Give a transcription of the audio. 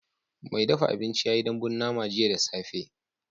Mai dafa abinci ya yi dambun nama jiya da safe